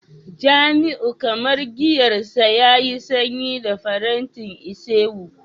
jamiu kamar giyar sa yayi sanyi da faranti isewu